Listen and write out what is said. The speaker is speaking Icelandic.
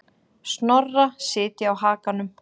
Snorra sitja á hakanum.